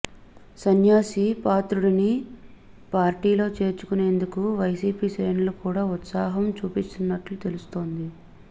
సన్యాసి పాత్రుడిని పార్టీలో చేర్చుకునేందుకు వైసీపీ శ్రేణులు కూడా ఉత్సాహం చూపిస్తున్నట్లు తెలుస్తోంది